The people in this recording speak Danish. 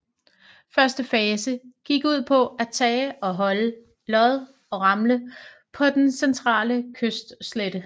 Første fase gik ud på at tage og holde Lod og Ramle på den centrale kystslette